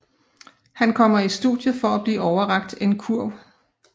Han kommer i studiet for at blive overrakt en kurv